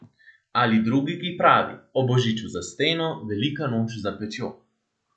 Ali drugi, ki pravi O božiču za steno, velika noč za pečjo.